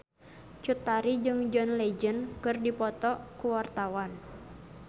Cut Tari jeung John Legend keur dipoto ku wartawan